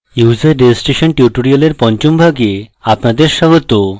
user registration tutorial পঞ্চম ভাগে আপনাদের স্বাগত